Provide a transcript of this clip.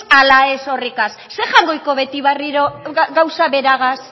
ala ez horretaz zer beti berriro gauza beragaz